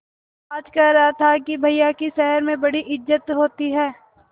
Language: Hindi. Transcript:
आज कह रहा था कि भैया की शहर में बड़ी इज्जत होती हैं